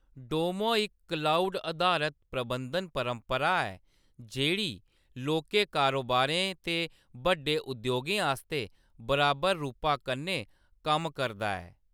डोमो इक क्लाउड-अधारत प्रबंधन परपंरा ऐ जेह्‌‌ड़ी लौह्‌‌‌के कारोबारें ते बड्डे उद्योगें आस्तै बराबर रूपा कन्नै कम्म करदा ऐ।